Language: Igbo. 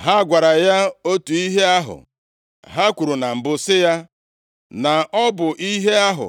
Ha gwara ya otu ihe ahụ ha kwuru na mbụ sị ya na ọ bụ ihe ahụ